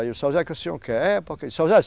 Aí eu, Seu Zé o que senhor quer? É porque. Seu Zé